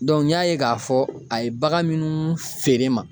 n y'a ye k'a fɔ a ye bagan minnu feere n ma